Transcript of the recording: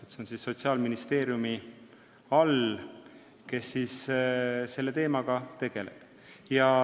See on Sotsiaalministeeriumi valdkond, tema selle teemaga tegeleb.